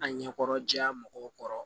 A ɲɛkɔrɔ jɛya mɔgɔw kɔrɔ